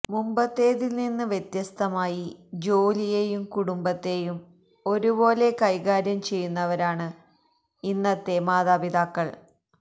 മുമ്പത്തേതില്നിന്ന് വ്യത്യസ്തമായി ജോലിയെയും കുടുംബത്തെയും ഒരുപോലെ കൈകാര്യം ചെയ്യുന്നവരാണ് ഇന്നത്തെ മാതാപിതാക്കള്